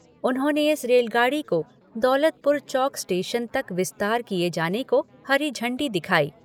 उन्होंने इस रेलगाड़ी को दौलतपुर चौक स्टेशन तक विस्तार किए जाने को हरी झण्डी दिखाई।